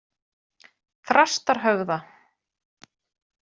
Þrastarhöfða